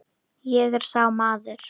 Ég er sá maður.